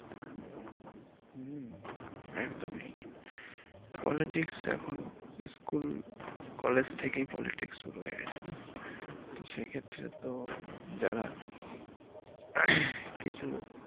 হম একদমই politics এখন school college থেকেই politics শুরু হয়ে গেছে না তো সেক্ষেত্রে তো যারা কিছু